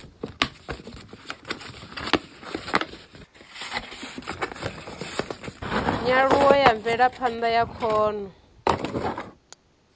nyaluho ya mvelaphanda ya khono